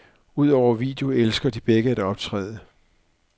Udover video elsker de begge at optræde.